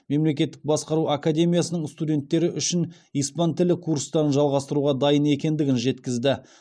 мемлекеттік басқару академиясының студенттері үшін испан тілі курстарын жалғастыруға дайын екендігін жеткізді